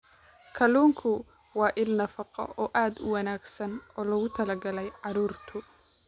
Kalluunku waa il nafaqo oo aad u wanaagsan oo loogu talagalay carruurta.